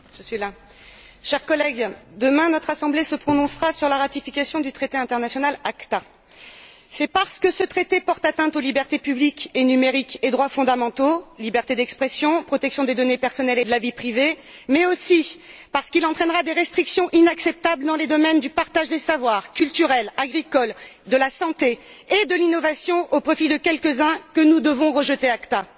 Madame la Présidente, chers collègues, demain notre Assemblée se prononcera sur la ratification du traité international ACTA. C'est parce que ce traité porte atteinte aux libertés publiques et numériques et aux droits fondamentaux liberté d'expression, protection des données personnelles et de la vie privée mais aussi parce qu'il entraînera des restrictions inacceptables dans le domaine du partage des savoirs, dans les domaines culturel, agricole et dans ceux de la santé et de l'innovation au profit de quelques uns que nous devons rejeter de l'ACTA.